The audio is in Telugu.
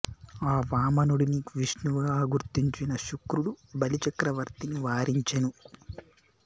ఆ వామనుడిని విష్ణువుగా గుర్తించిన శుక్రుడు బలి చక్రవర్తిని వారించెను